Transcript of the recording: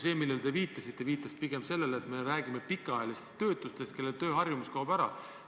See, millele teie viitasite, näitab pigem seda, et me räägime pikaajalistest töötutest, kelle tööharjumus kaob ära.